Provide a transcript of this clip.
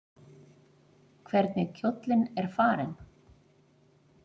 Hvernig kjóllinn er farinn!